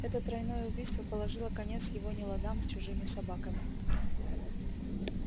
это тройное убийство положило конец его неладам с чужими собаками